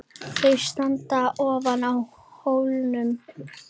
Þau standa aftur á hólnum.